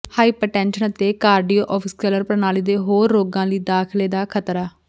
hypertension ਅਤੇ cardiovascular ਪ੍ਰਣਾਲੀ ਦੇ ਹੋਰ ਰੋਗਾਂ ਲਈ ਦਾਖ਼ਲੇ ਦਾ ਖਤਰਾ